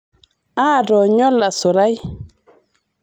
aatoonyo olasurai